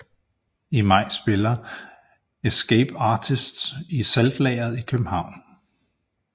I maj spiller Escape Artists i Saltlageret i København